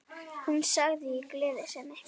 Hún sagði í gleði sinni